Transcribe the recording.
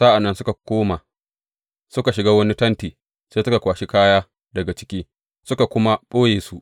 Sa’an nan suka koma, suka shiga wani tenti, sai suka kwashi kaya daga ciki, suka kuma ɓoye su.